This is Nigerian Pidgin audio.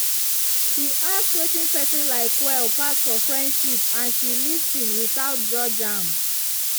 she ask wetin person like well pass for friendship and she lis ten without judge am.